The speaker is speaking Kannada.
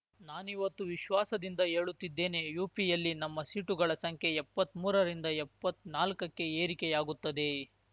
ನಾನಿವತ್ತು ವಿಶ್ವಾಸದಿಂದ ಹೇಳುತ್ತಿದ್ದೇನೆ ಯುಪಿಯಲ್ಲಿ ನಮ್ಮ ಸೀಟುಗಳ ಸಂಖ್ಯೆ ಎಪ್ಪತ್ಮೂರರಿಂದ ಎಪ್ಪತ್ನಾಲ್ಕಕ್ಕೆ ಏರಿಕೆಯಾಗುತ್ತದೆ